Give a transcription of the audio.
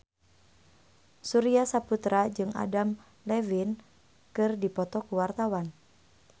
Surya Saputra jeung Adam Levine keur dipoto ku wartawan